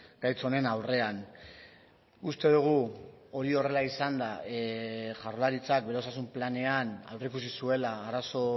gaitz honen aurrean uste dugu hori horrela izanda jaurlaritzak bere osasun planean aurreikusi zuela arazo